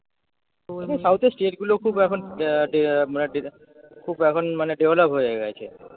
তবু south এর state গুলোও খুব এখন খুব এখন মানে develop হয়ে গেছে